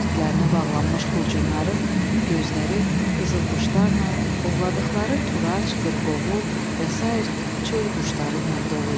Tərklərinə bağlanmış xurcunların gözləri qızılquşlarla ovladıqları Turaç, qırqovul və sair çöl quşları ilə dolu idi.